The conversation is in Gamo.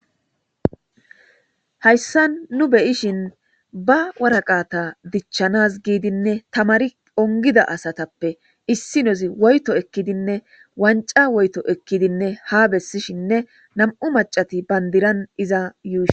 Hayssa nu beyishin ba waraqata dichchanas giidinne tamari ongida asatappe issi nozi woyto ekkidinne wanca woyto ekkidinne ha bessishinne nam'u macati bandiran iza yuusin.